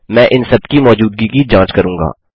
मैं इन सबकी मौजूदगी की जाँच करूँगा